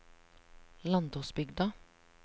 Landåsbygda